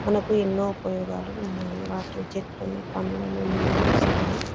మనకు ఎనో ఉపయోగాలు ఉన్నాయి మనకి చెట్లను పండ్లని నీడను ఇస్తాయి .